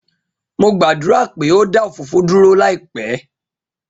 Mo gbadura pe o da òfófó duro laipẹ.